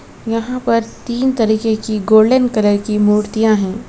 यहां पर तीन तरीके की गोल्डन कलर की मूर्तियां हैं।